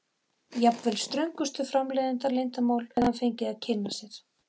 Jafnvel ströngustu framleiðsluleyndarmál hefði hann fengið að kynna sér.